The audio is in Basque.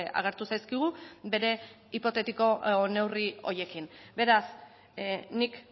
agertu zaizkigu bere hipotetiko neurri horiekin beraz nik